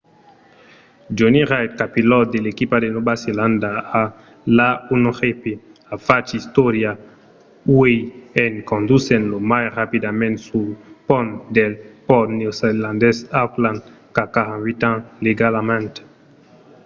jonny reid copilòt de l'equipa de nòva zelanda a l'a1gp a fach istòria uèi en condusent lo mai rapidament sul pont del pòrt neozelandés d'auckland qu'a 48 ans legalament